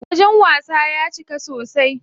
Wajen wasan ya cika sosai.